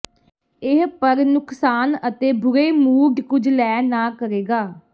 ਇਹ ਪਰ ਨੁਕਸਾਨ ਅਤੇ ਬੁਰੇ ਮੂਡ ਕੁਝ ਲੈ ਨਾ ਕਰੇਗਾ